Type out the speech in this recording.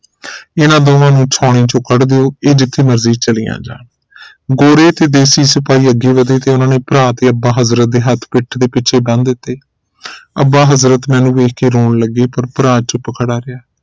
ਇਨ੍ਹਾਂ ਦੋਵਾਂ ਨੂੰ ਛਾਉਣੀ ਚੋ ਕੱਢ ਦਿਓ ਇਹ ਜਿਥੇ ਮਰਜੀ ਚਲਿਆ ਜਾਣ ਗੋਰੇ ਤੇ ਦੇਸੀ ਸਿਪਾਹੀ ਅੱਗੇ ਵਧੇ ਤੇ ਉਨ੍ਹਾਂ ਨੇ ਭਰਾ ਤੇ ਅੱਬਾ ਹਜ਼ਰਤ ਦੇ ਹੱਥ ਪੀਠ ਦੇ ਪਿਛੇ ਬਨੰ ਦਿਤੇ ਅੱਬਾ ਹਜ਼ਰਤ ਮੈਨੂੰ ਵੇਖ ਕੇ ਰੌਣ ਲਗੇ ਤੇ ਭਰਾ ਚੁੱਪ ਖੜਿਆ ਰਿਹਾ